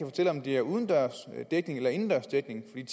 fortælle om de har udendørs dækning eller indendørs dækning